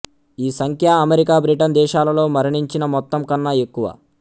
ఈ సంఖ్య America Britain దేశాలలో మరణించిన మొత్తం కన్నా ఎక్కువ